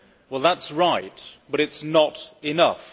Well, that is right, but it is not enough.